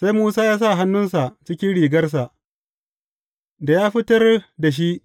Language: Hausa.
Sai Musa ya sa hannunsa cikin rigarsa, da ya fitar da shi,